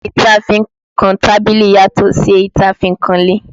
Igi tí a fi ń kan tábìlì yàtò sí èyí tí a fi ń kan ilé